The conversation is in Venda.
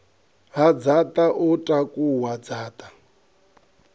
ha dzaṱa o takuwa dzaṱa